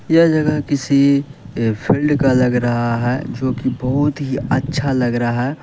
यह जगह किसी एक फील्ड का लग रहा है जोकि बहुत ही अच्छा लग रहा है।